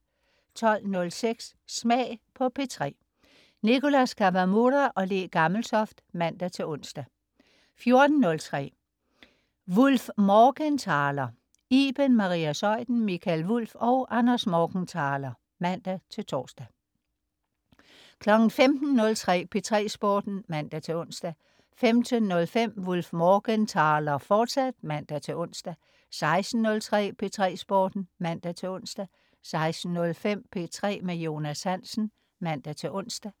12.06 Smag på P3. Nicholas Kawamura/Le Gammeltoft (man-ons) 14.03 WulffMorgenthaler. Iben Maria Zeuthen, Mikael Wulff og Anders Morgenthaler (man-tors) 15.03 P3 Sporten (man-ons) 15.05 WulffMorgenthaler, fortsat (man-ons) 16.03 P3 Sporten (man-ons) 16.05 P3 med Jonas Hansen (man-ons)